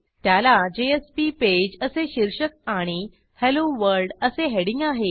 त्याला JSP page असे शीर्षक आणि हेल्लो वर्ल्ड असे हेडिंग आहे